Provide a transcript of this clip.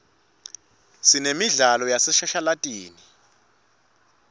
sinemidlalo yaseshashalatini